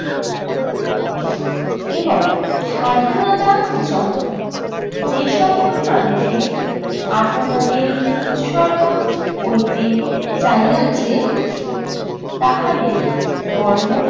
এবং স্বাধীনতার জন্য যে সকল মানুষের আপনাদের উৎসর্গ করিতে চাহিয়াছে তাহাদের ধর্ম